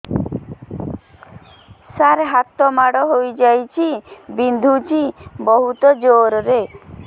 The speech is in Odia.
ସାର ହାତ ମାଡ଼ ହେଇଯାଇଛି ବିନ୍ଧୁଛି ବହୁତ ଜୋରରେ